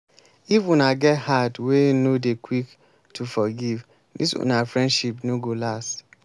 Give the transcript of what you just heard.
if una get heart wey no dey quick to forgive dis una friendship no go last.